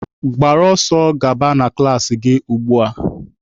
Gbara ọsọ gaba na klaasị gị ugbua!